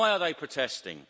Why are they protesting?